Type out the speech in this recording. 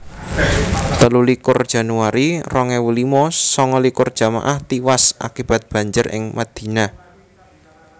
telulikur januari rong ewu limo sanga likur jamaah tiwas akibat banjir ing Madinah